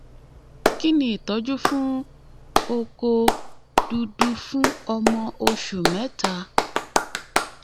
kí ni ìtọ́jú fún oko dudu fun ọmọ oṣù mẹ́ta?